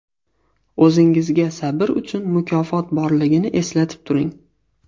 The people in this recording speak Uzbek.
O‘zingizga sabr uchun mukofot borligini eslatib turing.